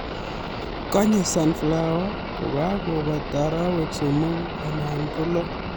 Konye sunflower kokebata arawek somoku anan ko lo